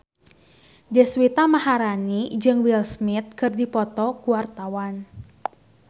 Deswita Maharani jeung Will Smith keur dipoto ku wartawan